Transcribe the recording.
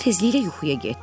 O tezliklə yuxuya getdi.